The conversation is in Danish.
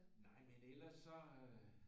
Nej men ellers så